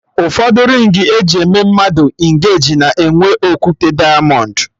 Ụfọdụ rịng eji eme mmadụ engeji na-enwe okwute dịamọnd